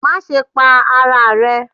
Maṣe pa ara rẹ